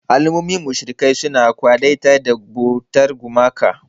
Al'ummomin mushrikai suna kwadaitar da bautar gumaka.